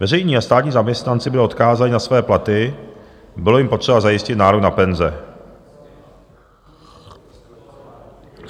Veřejní a státní zaměstnanci byli odkázáni na své platy, bylo jim potřeba zajistit nárok na penze.